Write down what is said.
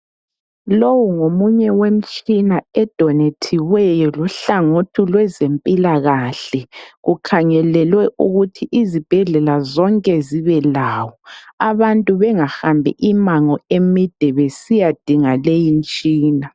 Lowu ngomunye wemtshina edonethiweyo luhlangothi lwezempilakahle. Kukhangelelwe ukuthi izibhedlela zonke zibe lawo. Abantu bengahambi imango emide besiya dinga leyi mtshina.